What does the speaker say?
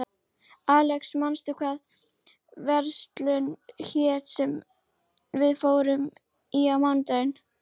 Alexis, manstu hvað verslunin hét sem við fórum í á mánudaginn?